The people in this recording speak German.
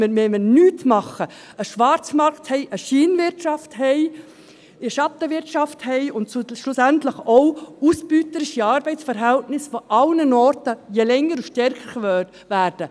Wenn wir nichts tun, haben wir einen Schwarzmarkt, eine Scheinwirtschaft, eine Schattenwirtschaft und schlussendlich auch ausbeuterische Arbeitsverhältnisse, die an allen Orten je länger desto stärker verbreitet sind.